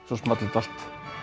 svo small þetta allt